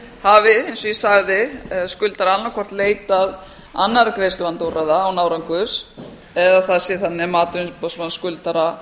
gjaldþrotaskipta hafi eins og ég sagði skuldari annað hvort leitað annarra greiðsluvandaúrræða án árangurs eða það sé þannig að mati umboðsmanns skuldara